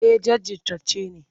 Eh jajirtacce ne.